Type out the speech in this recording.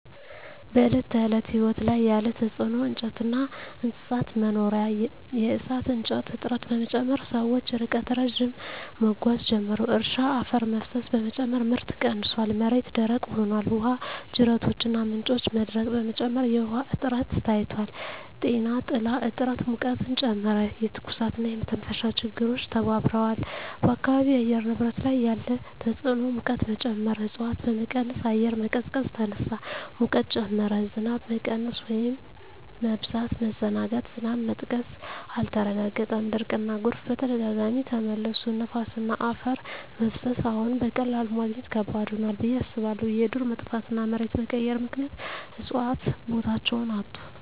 በዕለት ተዕለት ሕይወት ላይ ያለ ተጽዕኖ እንጨትና እንስሳት መኖሪያ የእሳት እንጨት እጥረት በመጨመር ሰዎች ርቀት ረዥም መጓዝ ጀመሩ። እርሻ አፈር መፍሰስ በመጨመር ምርት ቀንሷል፣ መሬት ደረቅ ሆኗል። ውሃ ጅረቶችና ምንጮች መድረቅ በመጨመር የውሃ እጥረት ታይቷል። ጤና ጥላ እጥረት ሙቀትን ጨመረ፣ የትኩሳትና የመተንፈሻ ችግሮች ተባብረዋል። በአካባቢው የአየር ንብረት ላይ ያለ ተጽዕኖ ሙቀት መጨመር እፅዋት በመቀነስ አየር መቀዝቀዝ ተነሳ፣ ሙቀት ጨመረ። ዝናብ መቀነስ/መበዛት መዘናጋት ዝናብ መጥቀስ አልተረጋገጠም፣ ድርቅና ጎርፍ በተደጋጋሚ ተመለሱ። ነፋስና አፈር መፍሰስ አዎን፣ በቀላሉ ማግኘት ከባድ ሆኗል ብዬ አስባለሁ። የዱር መጥፋትና መሬት መቀየር ምክንያት እፅዋት ቦታቸውን አጡ።